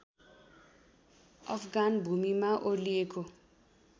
अफगान भूमिमा ओर्लिएको